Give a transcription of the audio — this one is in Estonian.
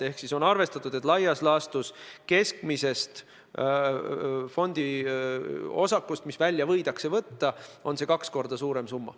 Seega on arvestatud, et laias laastus keskmisest fondiosakust, mis välja võidakse võtta, on see kaks korda suurem summa.